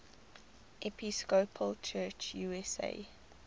episcopal church usa